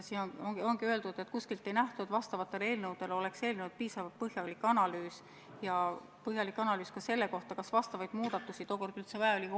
Siin ongi öeldud, et kuskilt ei nähtu, et nendele eelnõudele oleks eelnenud piisavalt põhjalik analüüs, sh põhjalik analüüs ka selle kohta, kas neid muudatusi üldse vaja on.